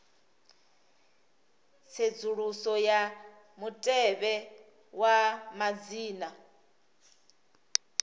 tsedzuluso ya mutevhe wa madzina